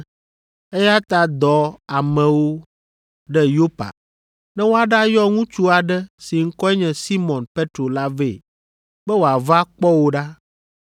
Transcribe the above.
Eya ta dɔ amewo ɖe Yopa ne woaɖayɔ ŋutsu aɖe si ŋkɔe nye Simɔn Petro la vɛ be wòava kpɔ wò ɖa.